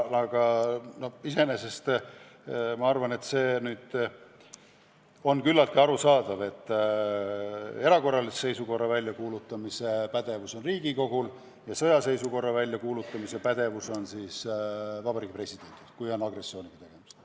Aga iseenesest ma arvan, et see on küllaltki arusaadav, et erakorralise seisukorra väljakuulutamise pädevus on Riigikogul ja sõjaseisukorra väljakuulutamise pädevus on siis Vabariigi Presidendil, kui on agressiooniga tegemist.